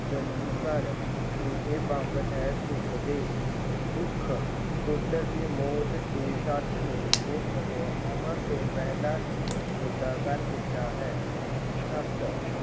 -ਜਲਦੀ ਕਰ ਇਹ ਬੰਬ ਹੈ, ਸੁੱਟ ਦੇ। ਦੁੱਖ - ਪੁੱਤਰ ਦੀ ਮੌਤ ਦੀ ਸੱਟ ਨੇ ਉਸਨੂੰ ਉਮਰ ਤੋਂ ਪਹਿਲਾਂ ਹੀ ਬੁੱਢਾ ਕਰ ਦਿੱਤਾ ਹੈ। ਤੱਤ